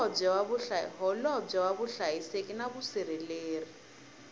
holobye wa vuhlayiseki na vusirheleri